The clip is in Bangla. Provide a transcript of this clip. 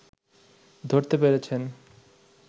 ধরতে পেরেছেন